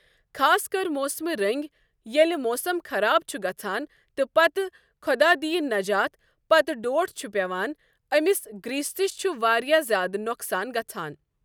خاص کر موسمہِ رنٛگۍ ییٚلہِ موسم خراب چھُ گژھان تہٕ پتہٕ خۄدا دِیِن نجات پتہٕ ڈۄٹھ چھُ پٮ۪وان أمِس گریستِس چھُ واریاہ زیادٕ نۄقصان گژھان۔